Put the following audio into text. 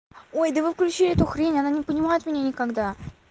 ой да выключи эту хрень она не понимает меня никогда